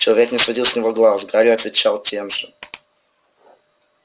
человечек не сводил с него глаз гарри отвечал тем же